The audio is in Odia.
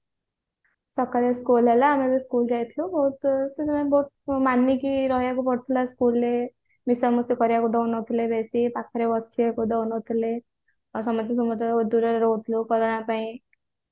ସକାଳୁ school ହେଲା ଆମେ ବି school ଯାଇଥିଲୁ ବହୁତ ବହୁତ ମାଣିକ୍ୟ ରହିବାକୁ ପଡୁଥିଲା school ରେ ମିଶାମିଶି କରିବାକୁ ଦଉ ନଥିଲେ ବେଶୀ ପାଖରେ ବସିବାକୁ ଦଉ ନଥିଲେ ଆଉ ସମସ୍ତିଙ୍କ ଠୁ ଦୂରରେ ରହୁଥିଲୁ କରୋନା ପାଇଁ